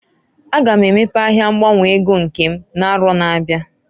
A ga m emepe ahịa ngbanwe ego nke m n'arọ na-abịa.